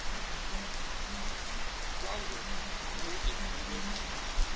kwango kude kube